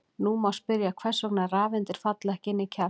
Nú má spyrja hvers vegna rafeindir falla ekki inn í kjarnann.